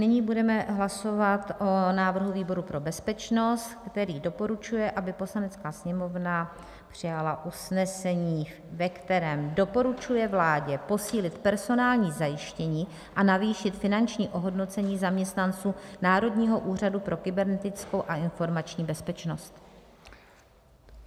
Nyní budeme hlasovat o návrhu výboru pro bezpečnost, který doporučuje, aby Poslanecká sněmovna přijala usnesení, ve kterém doporučuje vládě posílit personální zajištění a navýšit finanční ohodnocení zaměstnanců Národního úřadu pro kybernetickou a informační bezpečnost.